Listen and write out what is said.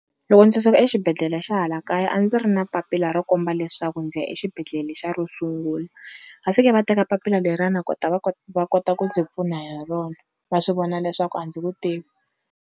Loko ndzi suka exibedhlele xa hala kaya a ndzi ri na papila ro komba leswaku ndzi ya exibedhlele lexiya ro sungula, va fike va teka papila lerana kota va va kota ku ndzi pfuna hi rona va swi vona leswaku a ndzi ku tivi.